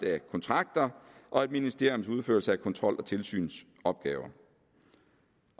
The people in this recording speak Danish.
af kontrakter og et ministeriums udførelse af kontrol og tilsynsopgaver